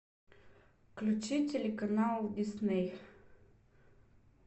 включи телеканал дисней